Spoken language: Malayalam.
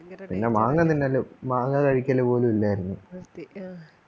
പിന്നെ മാങ്ങ തിന്നലും മാങ്ങ കഴിക്കലും പോലുമില്ലായിരുന്നു